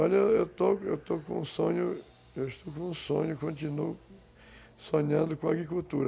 Olha, eu estou estou com um sonho, continuo sonhando com a agricultura.